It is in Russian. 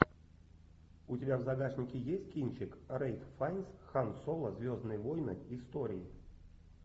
у тебя в загашнике есть кинчик рэйф файнс хан соло звездные войны истории